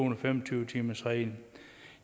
og fem og tyve timersregel